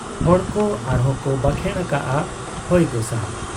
ᱦᱚᱲ ᱠᱚ ᱟᱨᱦᱚᱸ ᱠᱚ ᱵᱟᱠᱷᱮᱬ ᱟᱠᱟᱜ ᱟ, ᱦᱚᱭ ᱜᱚᱸᱥᱟᱭ ᱾